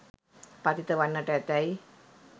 පතිත වන්නට ඇතැයි